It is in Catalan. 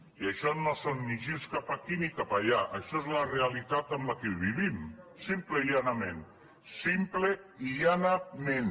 i això no són ni girs cap aquí ni cap allà això és la realitat amb la que vivim simplement i llanament simplement i llanament